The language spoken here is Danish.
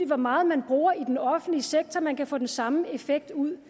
hvor meget man bruger i den offentlige sektor for man kan få den samme effekt ud